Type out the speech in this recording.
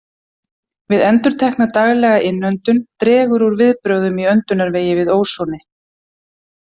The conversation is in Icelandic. Við endurtekna, daglega innöndun dregur úr viðbrögðum í öndunarvegi við ósoni.